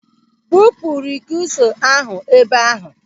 Bupu rikisọ ahụ ebe ahụ!